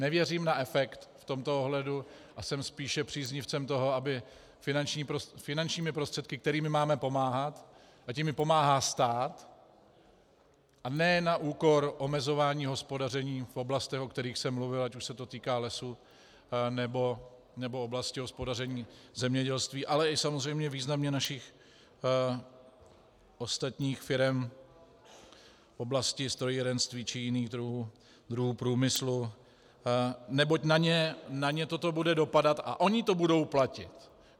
Nevěřím na efekt v tomto ohledu a jsem spíše příznivcem toho, aby finančními prostředky, kterými máme pomáhat, ať jimi pomáhá stát, a ne na úkor omezování hospodaření v oblastech, o kterých jsem mluvil, ať už se to týká lesů, nebo oblasti hospodaření zemědělství, ale i samozřejmě významně našich ostatních firem v oblasti strojírenství či jiných druhů průmyslu, neboť na ně toto bude dopadat a oni to budou platit.